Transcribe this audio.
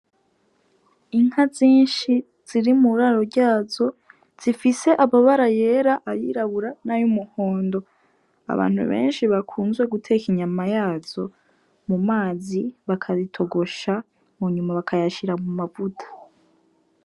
Inka zinshi ziri mu raro ryazo zifise ababara yera ayirabura nayo umuhondo abantu benshi bakunzwe guteka inyama yazo mu mazi bakazitogosha mu nyuma bakayashira mu mavuta.